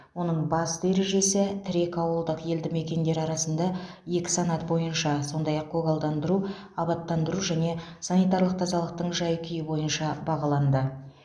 оның басты ережесі тірек ауылдық елді мекендер арасында екі санат бойынша сондай ақ көгалдандыру абаттандыру және санитарлық тазалықтың жай күйі бойынша бағаланды